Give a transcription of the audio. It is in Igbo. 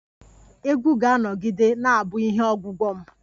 Egwu ga-anọgide na-abu ihe ogwugwo m